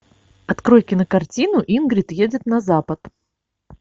открой кинокартину ингрид едет на запад